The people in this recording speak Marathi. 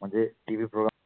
म्हणजे TV program